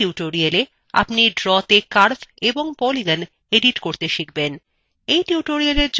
in tutorialএ আপনি ড্রতে curves এবং polygons edit করতে শিখব